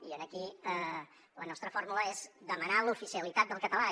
i aquí la nostra fórmula és demanar l’oficialitat del català